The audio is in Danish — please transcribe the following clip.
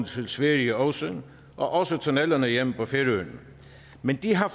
sverige også og også tunnellerne hjemme på færøerne men de har